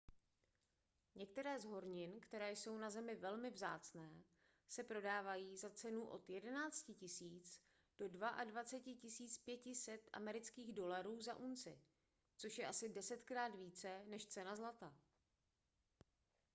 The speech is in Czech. některé z hornin které jsou na zemi velmi vzácné se prodávají za cenu od 11 000 do 22 500 usd za unci což je asi desetkrát více než cena zlata